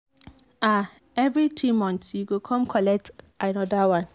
ah every three months you go come collect another one.